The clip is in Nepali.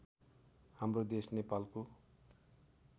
हाम्रो देश नेपालको